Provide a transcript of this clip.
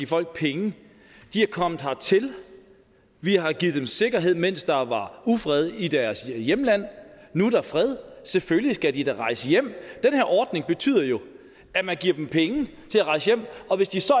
folk penge de er kommet hertil vi har givet dem sikkerhed mens der var ufred i deres hjemland nu er der fred selvfølgelig skal de da rejse hjem den her ordning betyder jo at man giver dem penge til at rejse hjem og hvis de så